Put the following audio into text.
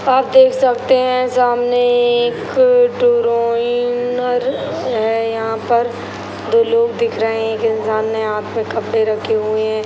आप देख सकते है सामने एक है यहाँ पर दो लोग दिख रहे है एक इंसान ने हाथ में कपड़े रखे हुए है।